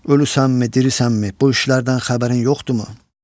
Ölüsənmi, dirisənmi, bu işlərdən xəbərin yoxdurmu?